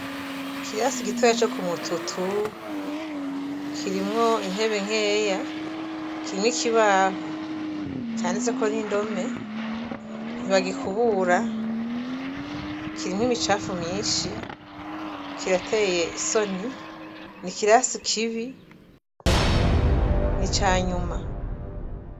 Ikirasi gitoyi co kumututu kirimwo intebe nkeya kirimwo ikibaho canditseko n'indome, ntibagikubura kirimwo imicafu myinshi kirateye isoni nikirasi kibi ni canyuma.